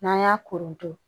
N'an y'a koronto